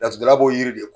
Laturudala b'o yiri de ko